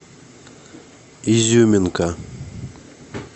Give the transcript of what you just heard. изюминка